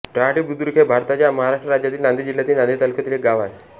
रहाटी बुद्रुक हे भारताच्या महाराष्ट्र राज्यातील नांदेड जिल्ह्यातील नांदेड तालुक्यातील एक गाव आहे